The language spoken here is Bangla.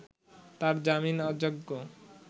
তাঁর জামিন অযোগ্য